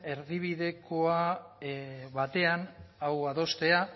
erdibideko batean hau adostea